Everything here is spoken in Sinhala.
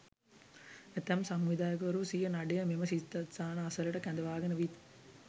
ඇතැම් සංවිධායකවරු සිය නඩය මෙම සිද්ධස්ථාන අසලට කැඳවාගෙන විත්